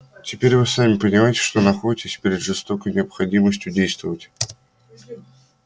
теперь вы сами понимаете что находитесь перед жёсткой необходимостью действовать